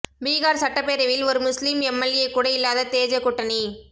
பீகார் சட்டப்பேரவையில் ஒரு முஸ்லிம் எம்எல்ஏ கூட இல்லாத தேஜ கூட்டணி